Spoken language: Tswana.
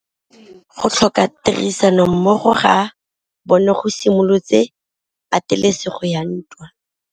Go tlhoka tirsanommogo ga bone go simolotse patêlêsêgô ya ntwa.